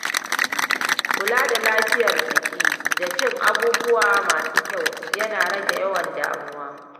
Kula da lafiyar jiki da cin abubuwa masu kyau, yana rage yawan damuwa.